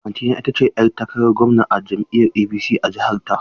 Auntyna ita ce ‘yar takarar gwamna a jam’iyyar APC a jiha ta.